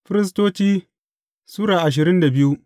Firistoci Sura ashirin da biyu